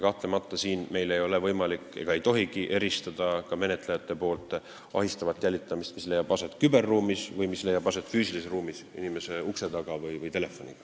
Kahtlemata ei ole menetlejatel võimalik – nad ei tohigi seda teha – eristada ahistavat jälitamist, mis leiab aset küberruumis, ja ahistavat jälitamist, mis leiab aset füüsilises ruumis, inimese ukse taga või telefonis.